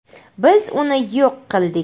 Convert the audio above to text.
Biz uni yo‘q qildik.